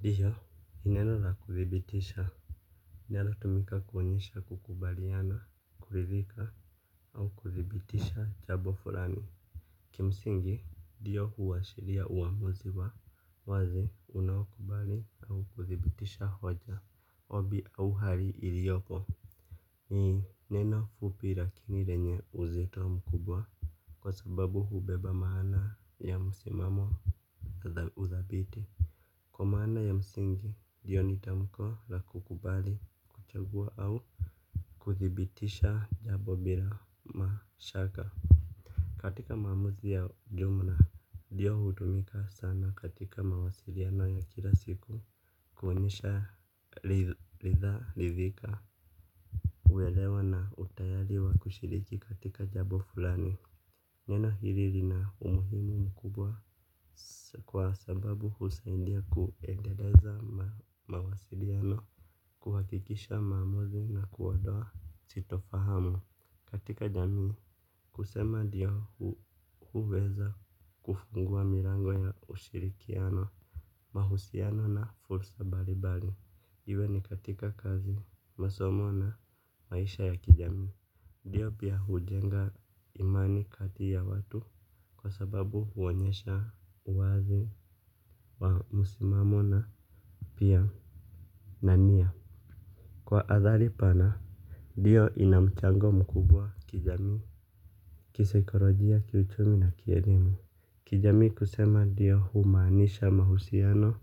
Ndiyo nineno la kudibitisha. Ndiyo hutumika kuonyesha kukubaliana, kuridhika au kuthibitisha jambo fulani. Kimsingi, ndiyo huashiria uamuzi wa kukubali au kuthibitisha hoja, ombi au hali iliyopo. Ni neno fupi lakini lina uzito mkubwa kwa sababu hubeba maana ya msimamo, na uthabiti. Kwa maana ya msingi, ndiyo ni tamko la kukubali, kuchagua au kuthibitisha jambo bila mashaka. Katika mazungumzo ya jumla, ndiyo hutumika sana katika mawasiliano ya kila siku kuonyesha kuridhika. Uelewa na utayari wa kushiriki katika jambo fulani. Neno hili lina umuhimu mkubwa. Kwa sababu husaidia kuendeleza mawasiliano, huhakikisha maamuzi na kuondoa sitofahamu katika jamii. Kusema ndiyo huweza kufungua milango ya ushirikiano, mahusiano na fursa mbalimbali, iwe ni katika kazi, masomo na maisha ya kijamii. Ndiyo pia hujenga imani kati ya watu kwa sababu huonyesha uwazi. Msimamo na pia na nia kwa athari pana, ndiyo ina mchango mkubwa kijamii, kisaikolojia, kiuchumi na kielimu. Kijamii, kusema ndiyo humaanisha mahusiano.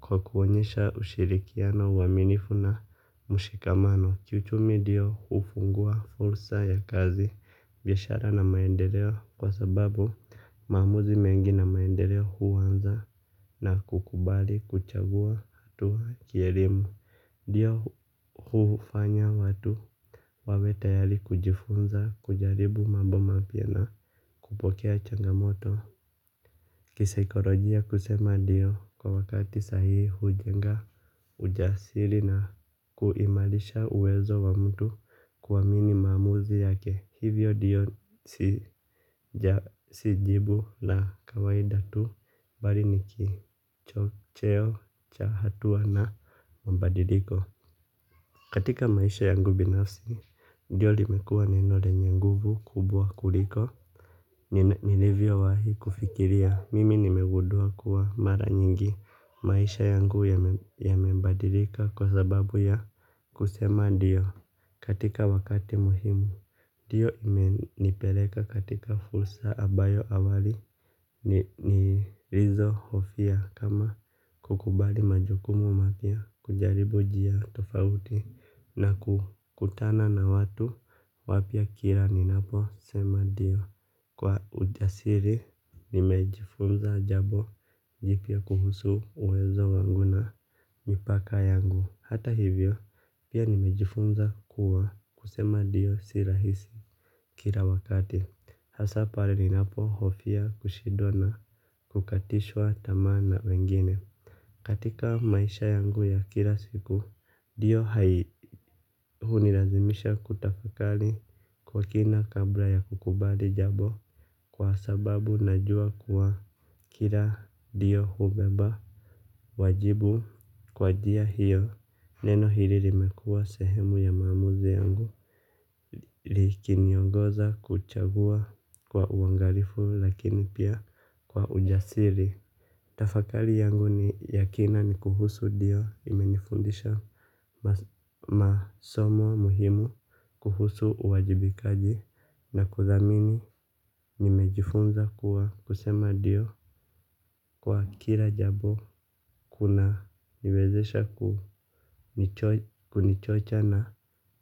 Kwa kuonyesha ushirikiano wa uaminifu na mshikamano. Kiuchumi, ndiyo hufungua fursa za kazi, biashara na maendeleo kwa sababu maamuzi mengi ya maendeleo huanza na kukubali, kuchagua, au kielimu, ndiyo hufanya watu wawe tayari kujifunza, kujaribu mambo mapya na kupokea changamoto. Kisaikolojia, kusema ndiyo kwa wakati sahihi hujenga ujasiri na kuimarisha uwezo wa mtu kuamini maamuzi yake. Hivyo ndio si jibu la kawaida tu bali ni kichocheo cha hatua na mabadiliko. Katika maisha yangu binafsi, ndio limekuwa neno lenye nguvu kubwa kuliko, nilivyowahi kufikiria mimi nimegudua kuwa mara nyingi maisha yangu yamebadilika kwa sababu ya kusema ndio katika wakati muhimu. Ndio imenipeleka katika fursa ambayo awali nilizo hofia kama kukubali majukumu mapya kujaribu njia tofauti na kukutana na watu wapya kila ninaposema ndio. Kwa ujasiri, nimejifunza jambo jipya kuhusu uwezo wangu na mipaka yangu. Hata hivyo, pia nimejifunza kuwa kusema ndio si rahisi. Kila wakati, hasa pale ninapohofia kushidwa na kukatishwa tamaa na wengine. Katika maisha yangu ya kila siku ndio hunilazimisha kutafakari kwa kina kabla ya kukubali jambo. Kwa sababu najua kuwa kila ndio hubeba wajibu kwa njia hiyo neno hili limekua sehemu ya maamuzi yangu likiniongoza kuchagua kwa uangalifu lakini pia kwa ujasiri. Tafakali yangu ni ya kina ni kuhusu ndio imenifundisha masomo muhimu kuhusu uwajibikaji na kuthamini nimejifunza kuwa kusema ndio kwa kila jambo kunaniwezesha kunichocha na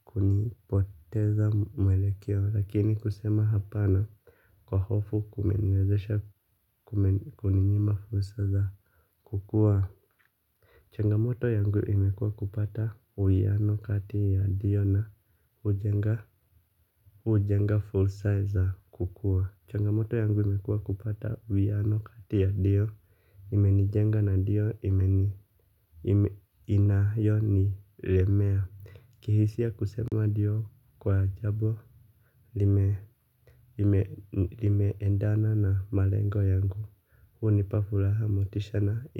kunipoteza mwelekeo. Lakini kusema hapana kwa hofu kumeniwezesha kuninyima fursa iza kukuwa. Changamoto yangu imekua kupata uwiano kati ya ndio na hujenga fursa za kukua. Changamoto yangu imekua kupata uwiano kati ya ndio imenijenga na ndio inayonilemea. Kihisia kusema ndio kwa jambo lime endana na malengo yangu. Hunipa furaha motisha na.